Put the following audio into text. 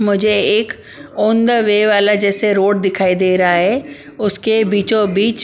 मुझे एक on the way वाला जैसे रोड दिखाई दे रहा है उसके बीचों-बीच --